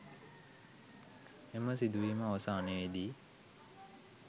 එම සිදුවීම අවසානයේදී